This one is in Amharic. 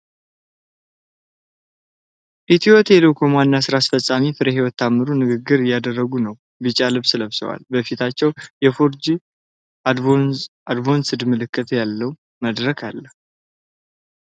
ኢትዮ ቴሌኮም ዋና ሥራ አስፈፃሚ ፍሬሕይወት ታምሩ ንግግር እያደረጉ ነው። ቢጫ ልብስ ለብሰዋል፣ በፊታቸውም የ4G አድቫንስድ ምልክት ያለበት መድረክ አለ።